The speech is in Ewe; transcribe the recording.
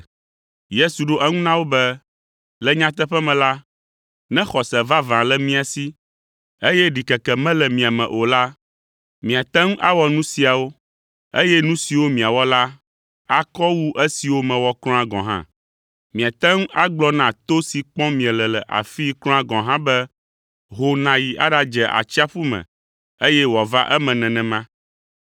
Yesu ɖo eŋu na wo be, “Le nyateƒe me la, ne xɔse vavã le mia si, eye ɖikeke mele mia me o la, miate ŋu awɔ nu siawo, eye nu siwo miawɔ la akɔ wu esiwo mewɔ kura gɔ̃ hã. Miate ŋu agblɔ na to si kpɔm miele le afii kura gɔ̃ hã be, ho nàyi aɖadze atsiaƒu me, eye wòava eme enumake.